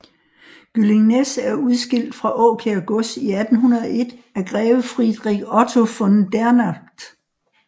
Gyllingnæs er udskilt fra Åkær Gods i 1801 af greve Friedrich Otto von Dernath